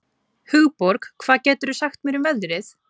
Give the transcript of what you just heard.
Hugborg, hvað geturðu sagt mér um veðrið?